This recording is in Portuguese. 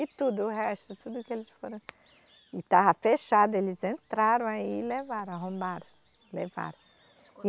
E tudo, o resto, tudo que eles foram. E estava fechado, eles entraram aí e levaram, arrombaram, levaram.